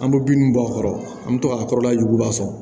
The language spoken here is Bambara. An bɛ bin bɔ a kɔrɔ an bɛ to ka kɔrɔla juguba sɔrɔ